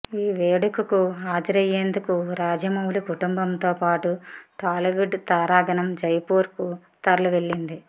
ఈ వేడుకకు హాజరయ్యేందుకు రాజమౌళి కుటుంబంతో పాటు టాలీవుడ్ తారాగణం జైపూర్ కు తరలి వెళ్లింది